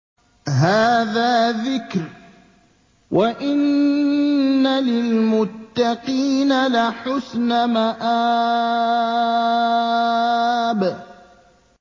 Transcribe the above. هَٰذَا ذِكْرٌ ۚ وَإِنَّ لِلْمُتَّقِينَ لَحُسْنَ مَآبٍ